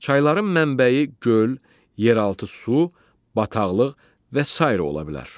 Çayların mənbəyi göl, yeraltı su, bataqlıq və sairə ola bilər.